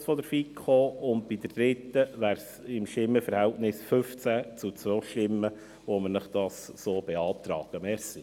Bei der dritten Planungserklärung beantragen wir Ihnen dies mit einem Stimmenverhältnis von 15 zu 2 Stimmen.